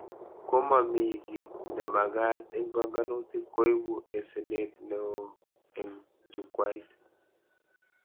Komamii kit nemagat eng banganutik koibu asenet neo eng Jukwait